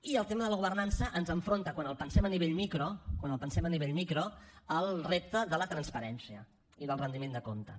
i el tema de la governança ens enfronta quan el pensem a nivell micro quan el pensem a nivell micro al repte de la transparència i del retiment de comptes